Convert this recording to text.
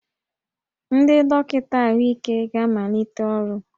Ndị dọkịta ahụike ga-amalite ọrụ